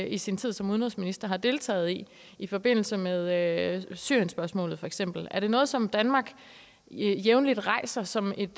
i sin tid som udenrigsminister har deltaget i i forbindelse med syrienspørgsmålet for eksempel er det noget som danmark jævnligt rejser som et